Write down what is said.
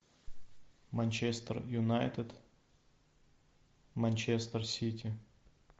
манчестер юнайтед манчестер сити